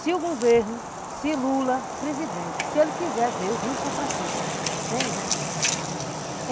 Se o governo, se Lula, o presidente, se ele quiser ver o rio São Francisco, venha.